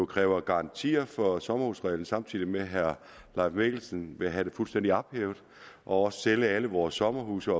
kræver garantier for sommerhusreglen samtidig med at herre leif mikkelsen vil have den fuldstændig ophævet og også sælge alle vores sommerhuse